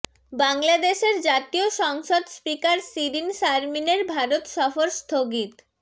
বাংলাদেশের জাতীয় সংসদ স্পিকার শিরীন শারমিনের ভারত সফর স্থগিত